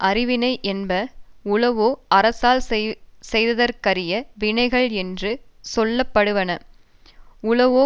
அருவினை என்ப உளவோ அரசரால் செய்தற்கு அரிய வினைகள் என்று சொல்ல படுவன உளவோ